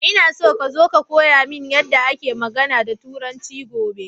Ina so ka zo ka koya mini yadda ake magAna da turanci gobe